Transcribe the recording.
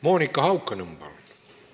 Monika Haukanõmm, palun!